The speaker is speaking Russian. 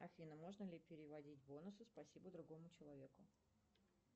афина можно ли переводить бонусы спасибо другому человеку